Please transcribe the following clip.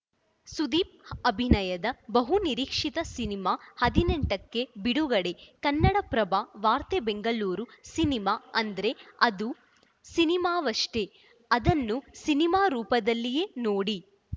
ಸುದೀಪ್‌ ಅಭಿನಯದ ಬಹುನಿರೀಕ್ಷಿತ ಸಿನಿಮಾ ಹದಿನೆಂಟಕ್ಕೆ ಬಿಡುಗಡೆ ಕನ್ನಡಪ್ರಭ ವಾರ್ತೆ ಬೆಂಗಳೂರು ಸಿನಿಮಾ ಅಂದ್ರೆ ಅದು ಸಿನಿಮಾವಷ್ಟೇ ಅದನ್ನ ಸಿನಿಮಾ ರೂಪದಲ್ಲಿಯೇ ನೋಡಿ